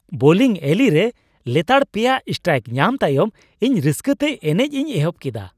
Bowling alley ᱨᱮ ᱞᱮᱛᱟᱲ ᱯᱮᱭᱟ ᱥᱴᱨᱟᱭᱤᱠ ᱧᱟᱢ ᱛᱟᱭᱚᱢ ᱤᱧ ᱨᱟᱹᱥᱠᱟᱹ ᱛᱮ ᱮᱱᱮᱡ ᱤᱧ ᱮᱦᱚᱵ ᱠᱮᱫᱟ ᱾